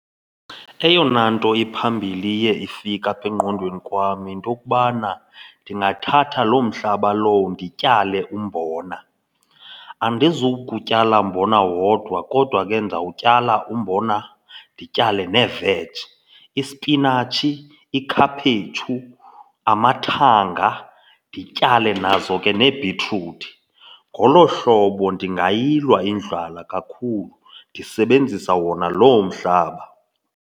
Eyona nto iphambili iye ifike apha engqondweni kwam yinto yokubana ndingathatha loo mhlaba lowo ndityale umbona. Andizukutyala mbona wodwa kodwa ke ndawutyala umbona ndityale neveji. Ispinatshi, ikhaphetshu, amathanga ndityale nazo ke neebhitruthi. Ngolo hlobo ndingayilwa indlala kakhulu ndisebenzisa wona loo mhlaba.